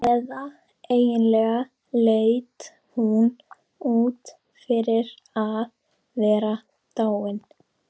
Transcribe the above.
Eða eiginlega leit hún út fyrir að vera dáin.